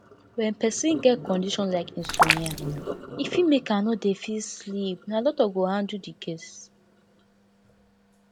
when person get condition like insomnia e fit make am no dey fit sleep na doctor go handle di case